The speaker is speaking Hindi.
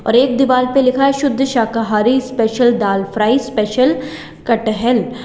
और एक दीवाल पे लिखा है शुद्ध शाकाहारी स्पेशल दाल फ्राई स्पेशल कटहल--